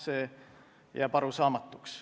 See jääb arusaamatuks.